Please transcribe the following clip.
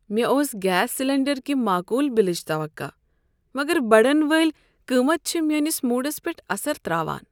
مےٚ اوس gas cylinder کہ معقول بلٕچ توقع، مگر بڑن وٲلۍ قیمت چھ میٲنس موڈس پیٹھ اثر ترٛاوان۔